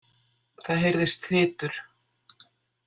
Það heyrðist þytur.